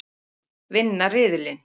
Vinna riðilinn!